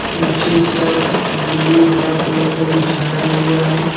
नीचे सब ब्लू हरा कलर का बिछाया हुआ है।